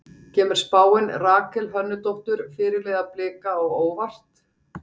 Kemur spáin Rakel Hönnudóttur, fyrirliða Blika á óvart?